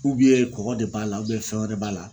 kɔgɔ de b'a la fɛn wɛrɛ b'a la .